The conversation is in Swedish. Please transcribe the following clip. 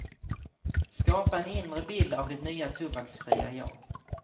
Skapa en inre bild av ditt nya tobaksfria jag.